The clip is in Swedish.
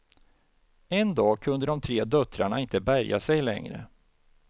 En dag kunde de tre döttrarna inte bärga sig längre.